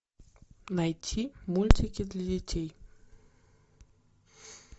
найти мультики для детей